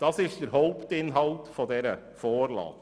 Das ist der Hauptinhalt dieser Vorlage.